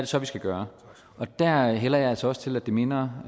så vi skal gøre og der hælder jeg altså også til at det minder